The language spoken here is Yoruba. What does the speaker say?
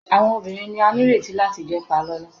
Awọn obirin ni a nireti lati jẹ palolo